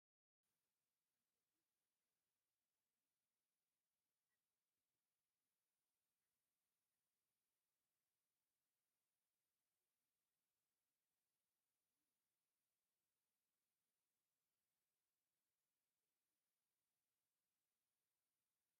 ተፈጥሮን አከባቢን ዝተፈላለዩ ናይ ተፈጥሮ እፅዋትን ሰማያትን አለው፡፡ ንአብነት ቡዙሓት ናይ ኤሌክትሪክ ገመዳት ዝሓለፎም ሓምለዎተ ተክሊታት አብ ሰማያዊ ሕብሪ ይርከቡ፡፡ ኤሌክትሪክ ገመድን ርሑስ ተክሊን ምርካብ ፅቡቅ ድዩ?